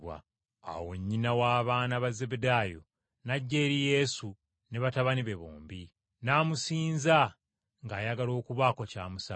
Awo nnyina w’abaana ba Zebbedaayo, n’ajja eri Yesu ne batabani be bombi, n’amusinza ng’ayagala okubaako ky’amusaba.